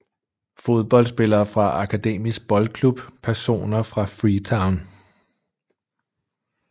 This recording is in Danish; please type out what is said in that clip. Fodboldspillere fra Akademisk Boldklub Personer fra Freetown